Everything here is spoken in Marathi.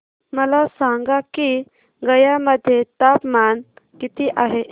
मला सांगा की गया मध्ये तापमान किती आहे